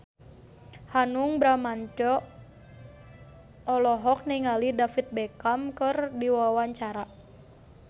Hanung Bramantyo olohok ningali David Beckham keur diwawancara